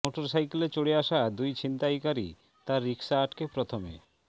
মোটরসাইকেলে চড়ে আসা দুই ছিনতাইকারী তার রিকশা আটকে প্রথমে